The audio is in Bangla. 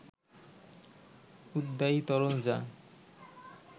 উদ্বায়ী তরল যা